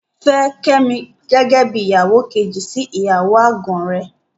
Fẹ́ Kẹ́mi gẹ́gẹ́ bí ìyàwó kejì sí ìyàwó àgàn rẹ.